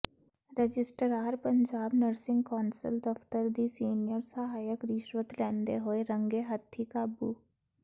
registrar Punjab nursing council ਦਫ਼ਤਰ ਦੀ senior ਸਹਾਇਕ ਰਿਸ਼ਵਤ ਲੈਂਦੇ ਹੋਏ ਰੰਗੇ ਹੱਥੀਂ ਕਾਬੂ